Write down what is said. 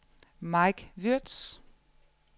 Mike Würtz